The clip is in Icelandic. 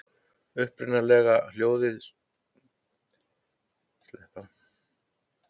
Upprunalega hljóðaði spurningin svona: Er starinn byrjaður að verpa?